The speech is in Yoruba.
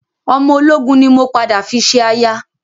Ọmọ ológun ni mo padà fi ṣe aya